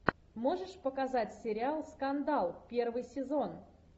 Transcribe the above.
можешь показать сериал скандал первый сезон